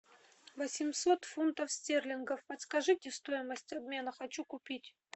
восемьсот фунтов стерлингов подскажите стоимость обмена хочу купить